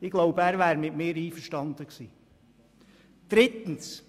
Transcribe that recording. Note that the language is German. Ich glaube, er wäre mit mir einverstanden gewesen.